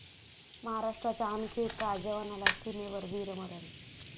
महाराष्ट्राच्या आणखी एका जवानाला सीमेवर वीरमरण